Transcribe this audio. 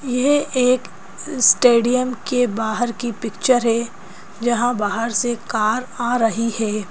यह एक स्टेडियम के बाहर की पिक्चर है जहां बाहर से कार आ रही है।